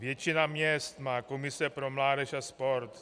Většina měst má komise pro mládež a sport.